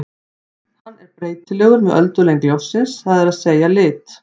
Hann er breytilegur með öldulengd ljóssins, það er að segja lit.